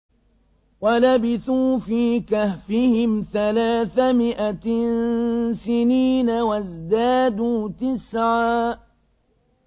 وَلَبِثُوا فِي كَهْفِهِمْ ثَلَاثَ مِائَةٍ سِنِينَ وَازْدَادُوا تِسْعًا